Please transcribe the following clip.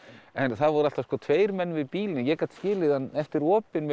en það voru alltaf tveir menn við bílinn ég gat skilið hann eftir opinn með